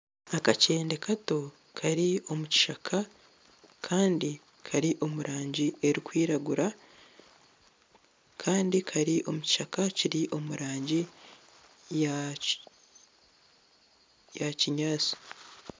Aka kyende kato kari omu kishaka kandi kari omu rangi erikwiragura kandi kari omu kishaka kiri omu rangi ya kinyaatsi.